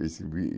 Esse